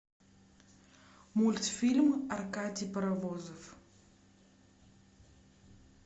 мультфильм аркадий паровозов